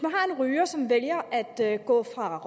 ryger som vælger at gå fra